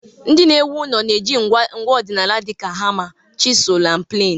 Ndị na-ewu ụlọ na-eji ngwa ọdịnala dịka hama, chisul na plainu.